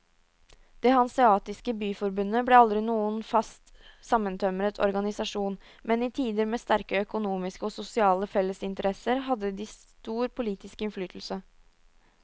Det hanseatiske byforbundet ble aldri noen fast sammentømret organisasjon, men i tider med sterke økonomiske og sosiale fellesinteresser hadde de stor politisk innflytelse.